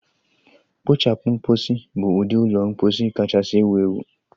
Kpochapu mposi bụ ụdị ụlọ mposi kachasị ewu ewu.